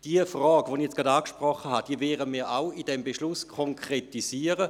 Die Frage, welche ich eben angesprochen habe, werden wir ebenfalls in diesem Beschluss konkretisieren.